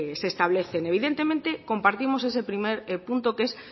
se establecen evidentemente compartimos ese primer punto que es